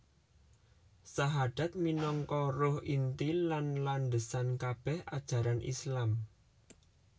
Sahadat minangka ruh inti lan landhesan kabèh ajaran Islam